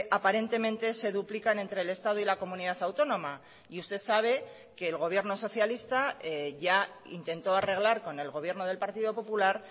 aparentemente se duplican entre el estado y la comunidad autónoma y usted sabe que el gobierno socialista ya intentó arreglar con el gobierno del partido popular